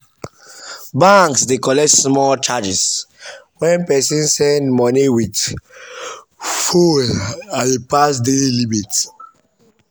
banks dey collect small charge when person send money with phone as e pass daily limit.